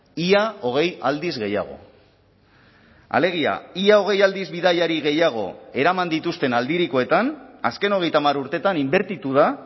ia hogei aldiz gehiago alegia ia hogei aldiz bidaiari gehiago eraman dituzten aldirikoetan azken hogeita hamar urteetan inbertitu da